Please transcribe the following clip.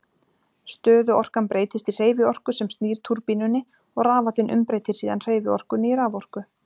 Stöðuorkan breytist í hreyfiorku sem snýr túrbínunni og rafallinn umbreytir síðan hreyfiorkunni í raforku.